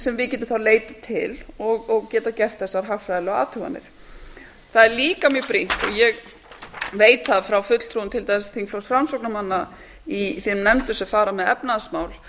sem við getum þá leitað til og geta gert þessar hagfræðilegu athuganir það er líka mjög brýnt og ég veit það frá fulltrúum til dæmis þingflokks framsóknarmanna í þeim nefndum sem fara með efnahagsmál